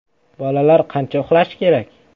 Bolalar qancha uxlashi kerak?